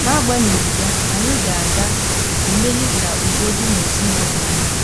N’agbanyeghị ya, anyị ga ga - emeli ka udo dị n’ezinụlọ anyị.